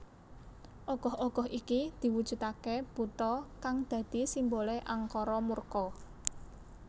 Ogoh ogoh iki diwujudake buta kang dadi simbole angkara murka